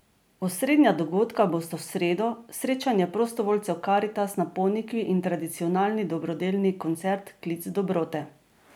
Osrednja dogodka bosta v sredo, srečanje prostovoljcev Karitas na Ponikvi in tradicionalni dobrodelni koncert Klic dobrote.